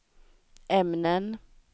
ämnen